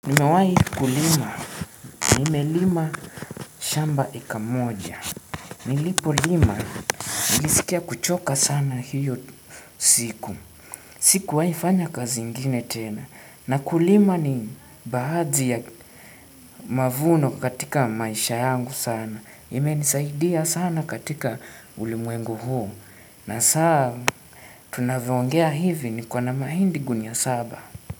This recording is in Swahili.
Nimewai kulima. Nime lima shamba eka moja. Nilipo lima. Nilisikia kuchoka sana hiyo siku. Sikuwai fanya kazi ingine tena. Na kulima ni baadhi ya mavuno katika maisha yangu sana. Imenisaidia sana katika ulimwengu huu. Na saa tunavyoongea hivi niko na mahindi gunia saba.